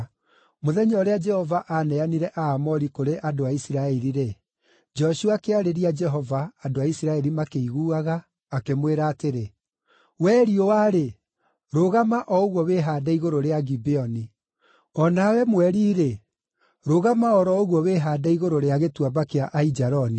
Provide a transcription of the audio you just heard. Mũthenya ũrĩa Jehova aaneanire Aamori kũrĩ a Isiraeli-rĩ, Joshua akĩarĩria Jehova, andũ a Isiraeli makĩiguaga, akĩmwĩra atĩrĩ: “We riũa-rĩ, rũgama o ũguo wĩhaande igũrũ rĩa Gibeoni, O nawe mweri-rĩ, rũgama o ro ũguo wĩhaande igũrũ rĩa Gĩtuamba kĩa Aijaloni.”